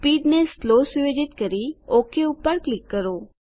speed ને slow સુયોજિત કરી ઓક પર ક્લિક કરો